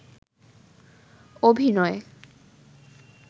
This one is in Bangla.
অভিনয়